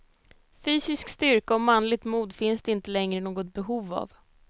Fysisk styrka och manligt mod finns det inte längre något behov av.